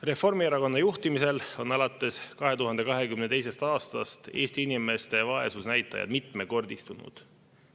Reformierakonna juhtimisel on alates 2022. aastast Eesti inimeste vaesusnäitajad mitmekordistunud.